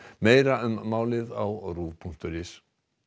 meira um málið á punktur is